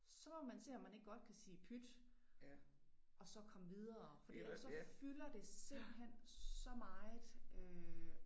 Så må man se om man ikke godt kan sige pyt og så komme videre fordi ellers så fylder det simpelthen så meget øh